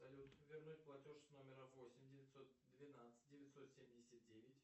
салют вернуть платеж с номера восемь девятьсот двенадцать девятьсот семьдесят девять